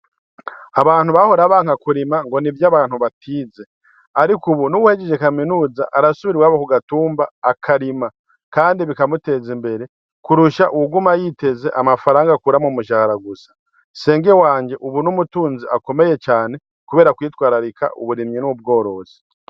Abantu bahora banka kurima ngo nivy'abantu batize ariko ubu numuntu nuwahejeje kaminuza arisubira iwabo ku gatumba akarima kandi bikamuteza imbere kurusha uwuguma yiteze amafaranga akura mu mushahara gusa, nsenge wanje ubu ni umutunzi ukomeye cane kubera kwitwararika uburimyi n'ubgorozi.